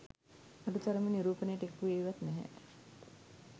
අඩු තරමින් නිරූපණයට එක් වුණේවත් නැහැ